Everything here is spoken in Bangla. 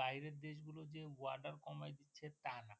বাইরের দেশ গুলোতে যে Order কমায় দিচ্ছে তা না